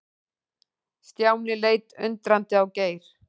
Stjáni leit undrandi á Geir.